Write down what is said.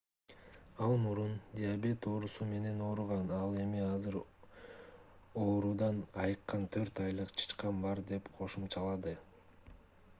ал мурун диабет оорусу менен ооруган ал эми азыр оорудан айыккан 4 айлык чычкан бар деп кошумчалады